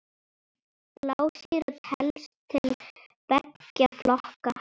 Blásýra telst til beggja flokka.